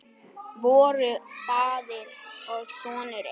Voru faðir og sonur einn?